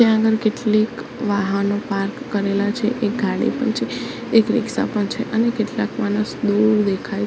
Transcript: ત્યાં આગળ કેટલીક વાહનો પાર્ક કરેલા છે એક ગાડી પણ છે એક રિક્ષા પણ છે અને કેટલાક માણસ દૂર દેખાય--